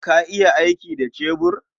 Ka iya aiki da cebur?